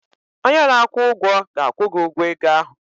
Onye na-akwụ ụgwọ ga-akwụ gi ụgwọ ego ahụ